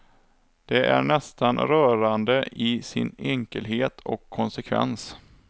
Det är nästan rörande i sin enkelhet och konsekvens.